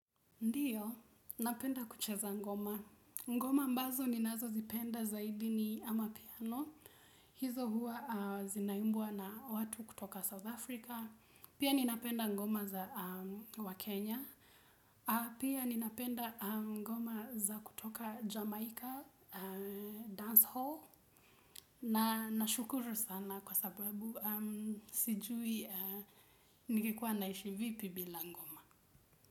Ndio, napenda kucheza ngoma. Ngoma ambazo ninazozipenda zaidi ni amapiano. Hizo huwa zinaimbwa na watu kutoka South Africa. Pia ninapenda ngoma za wakenya. Pia ninapenda ngoma za kutoka Jamaica Dance Hall. Na nashukuru sana kwa sababu sijui ningekuwa naishi vipi bila ngoma.